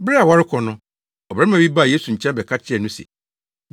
na wofii hɔ kɔɔ akuraa foforo bi ase. Kristo Akyidi Mu Brɛ